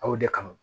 Aw de kama